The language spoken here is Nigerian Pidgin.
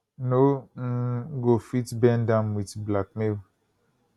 no um go fit bend am wit blackmail